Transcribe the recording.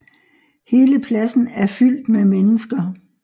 Hele pladsen af fyldt med mennesker